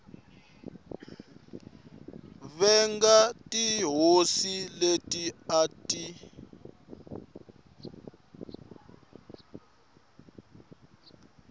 venga tihosi leti a ti